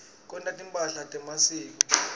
kwenta timphahla temasiko